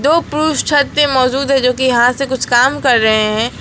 दो पुरुष छत पे मौजूद है जो कि यहां से कुछ काम कर रहे हैं।